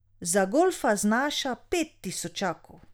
Za golfa znaša pet tisočakov.